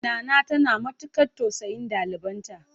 Nana tana matukar tausayin ɗalibanta.